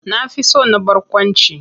Na fi son na barkwanci.